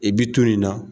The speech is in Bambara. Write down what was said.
I bi to yen nɔ